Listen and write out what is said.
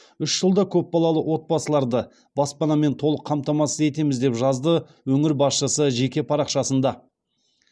үш жылда көпбалалы отбасыларды баспанамен толық қамтамасыз етеміз деп жазды өңір басшысы жеке парақшасында